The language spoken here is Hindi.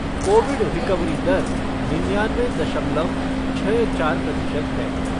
कोविड रिकवरी दर निन्यानबे दमलव छह चार प्रतिशत है।